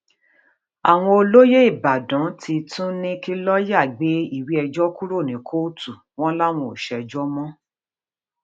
àwọn olóyè ìbàdàn ti tún ní kí lọọyà gbé ìwé ẹjọ kúrò ní kóòtù wọn làwọn ò ṣèjọ mọ